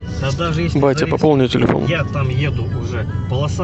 батя пополни телефон